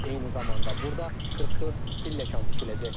Eyni zamanda burda 44 pilləkən tikiləcək.